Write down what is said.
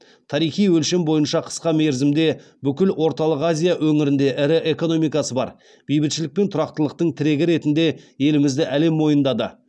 тарихи өлшем бойынша қысқа мерзімде бүкіл орталық азия өңірінде ірі экономикасы бар бейбітшілік пен тұрақтылықтың тірегі ретінде елімізді әлем мойындады